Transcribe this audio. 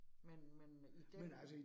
Men men i den